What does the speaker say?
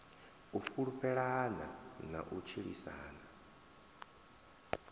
u fhulufhelana na u tshilisana